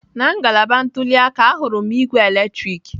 Na ngalaba ntuli aka, ahụrụ m ígwè eletrik.